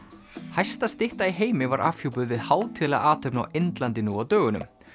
hæsta stytta í heimi var afhjúpuð við hátíðlega athöfn á Indlandi nú á dögunum